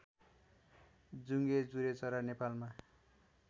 जुंगे जुरेचरा नेपालमा